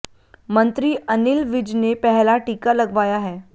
मंत्री अनिल विज ने पहला टीका लगवाया है